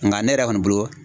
Nka ne yɛrɛ kɔni bolo